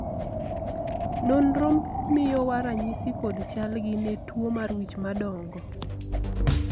nonro miyowa ranyisi kod chal gi ne tuo mar wich madongo